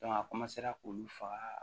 a k'olu faga